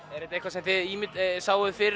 er þetta eitthvað sem þið sáuð fyrir